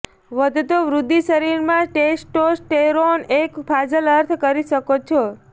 વધતો વૃદ્ધિ શરીરમાં ટેસ્ટોસ્ટેરોન એક ફાજલ અર્થ કરી શકો છો